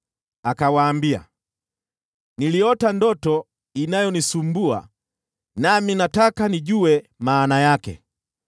akawaambia, “Niliota ndoto inayonisumbua, nami nataka nijue maana yake.”